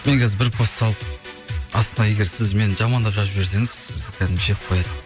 мен қазір бір пост салып астына егер сіз мені жамандап жазып жіберсеңіз сізді кәдімгі жеп қояды